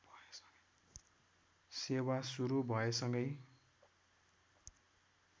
सेवा सुरू भएसँगै